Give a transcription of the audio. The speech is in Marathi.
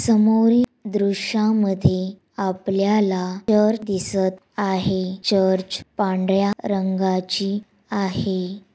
समोरील दृश्यामध्ये आपल्याला चर्च दिसत आहे चर्च पांढर्‍या रंगाची आहे.